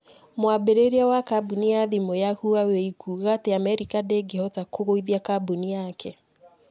Mwambĩrĩria wa kambuni ya thimu ya Huawei kuuga atĩ Amerika ndĩngĩhota kũgũithia kambuni yake